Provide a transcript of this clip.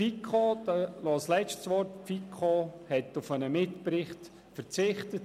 Ich danke Grossrat Sommer für seine Ausführungen.